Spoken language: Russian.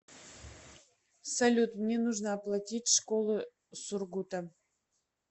салют мне нужно оплатить школы сургута